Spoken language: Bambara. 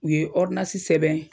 U ye sɛbɛn